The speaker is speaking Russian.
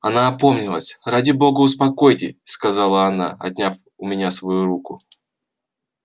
она опомнилась ради бога успокойте сказала она отняв у меня свою руку